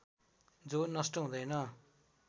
जो नष्ट हुँदैन